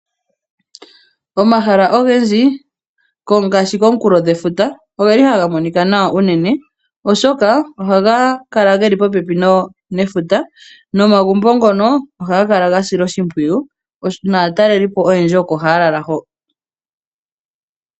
Omahala ogendji ngaashi komukulo gwefuta, ogeli haga monika nawa shinene oshoka ohaga kala geli popepi nefuta nomagumbo ngono ohaga kala gasilwa oshimpwiyu naatalelipo oyendji oko haya lala ho.